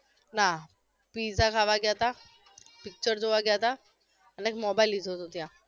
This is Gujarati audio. ના pizza ખાવા ગ્યા તા picture જોવા ગ્યા તા અને એક mobile લીધો હતો ત્યાં